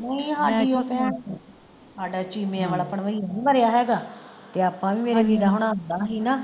ਨਹੀਂ ਹਾਡਾ ਹਾਡਾ ਚੀਮੇ ਵਾਲਾ ਭੰਨ੍ਹਵਈਆ ਨਹੀਂ ਮਰਿਆ ਹੈਗਾ ਤੇ ਆਪਾਂ ਵੀ ਮੇਰੇ ਵੀਰਾ ਹੋਣਾ ਆਂਦਾ ਹੀ ਨਾ